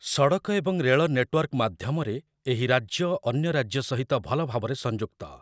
ସଡ଼କ ଏବଂ ରେଳ ନେଟୱାର୍କ ମାଧ୍ୟମରେ ଏହି ରାଜ୍ୟ ଅନ୍ୟ ରାଜ୍ୟ ସହିତ ଭଲ ଭାବରେ ସଂଯୁକ୍ତ ।